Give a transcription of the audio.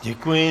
Děkuji.